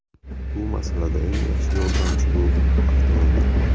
Bu masalada eng yaxshi yordamchi bu avtomobil.